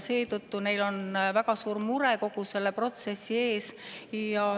Seetõttu on neil väga suur mure kogu selle protsessi pärast.